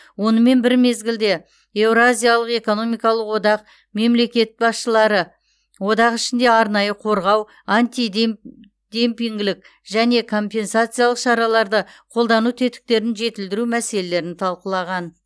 онымен бір мезгілде еуразиялық экономикалық одақ мемлекет басшылары одақ ішінде арнайы қорғау демпингілік және компенсациялық шараларды қолдану тетіктерін жетілдіру мәселелерін талқылаған